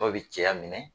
Dɔw bi cɛya minɛ